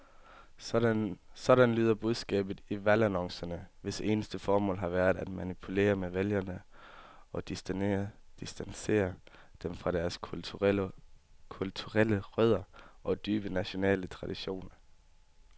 Sådan lyder budskabet i valgannoncerne, hvis eneste formål har været at manipulere med vælgere og distancere dem fra deres kulturelle rødder og dybe nationale traditioner.